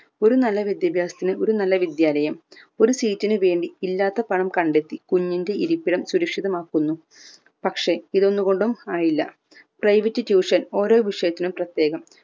ഒരു നല്ല വിദ്യാഭ്യാസത്തിന് ഒരു നല്ല വിദ്യാലയം ഒരു seat ന് വേണ്ടി ഇല്ലാത്ത പണം കണ്ടെത്തി കുഞ്ഞിന്റെ ഇരിപ്പിടം സുരക്ഷിമാക്കുന്നു പക്ഷേ ഇത് ഒന്ന് കൊണ്ടും ആയില്ല private tuition ഓരോ വിഷയത്തിനും പ്രത്യേകം